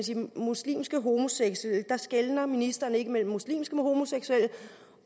de muslimske homoseksuelle der skelner ministeren ikke mellem muslimske homoseksuelle